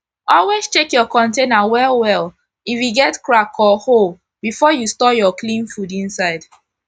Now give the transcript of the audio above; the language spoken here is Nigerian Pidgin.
always check ur container well well if e get crack or hole before u store ur clean food inside